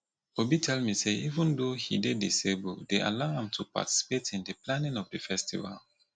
obi tell me say even though he dey disabled dey allow am to participate in the planning of the festival